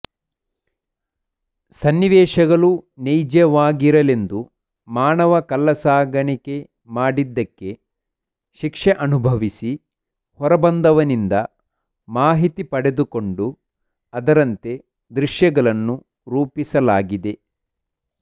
ಸನ್ನಿಿವೇಶಗಳು ನೈಜವಾಗಿರಲೆಂದು ಮಾನವ ಕಳ್ಳ ಸಾಗಾಣಿಕೆ ಮಾಡಿದ್ದಕ್ಕೆೆ ಶಿಕ್ಷೆ ಅನುಭವಿಸಿ ಹೊರಬಂದವನಿಂದ ಮಾಹಿತಿ ಪಡೆದುಕೊಂಡು ಅದರಂತೆ ದೃಶ್ಯಗಳನ್ನು ರೂಪಿಸಲಾಗಿದೆ